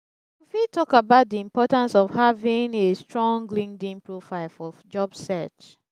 you fit talk about di importance of having a strong linkedln profile for job search.